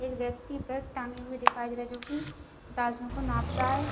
एक व्यक्ति बैग टांगे हुए दिखाई दे रहा है जो की तजनो को नाप रहा है।